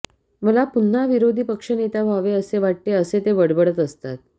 मला पुन्हा विरोधी पक्षनेता व्हावे असे वाटते असे ते बडबडत असतात